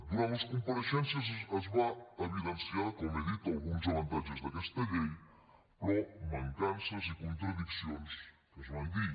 durant les compareixences es van evidenciar com hem dit alguns avantatges d’aquesta llei però de mancances i contradiccions se’n van dir